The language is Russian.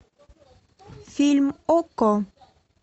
фильм окко